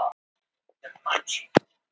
og var að segja eitthvað.